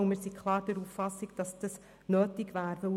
Wir sind klar der Auffassung, dass es nötig wäre.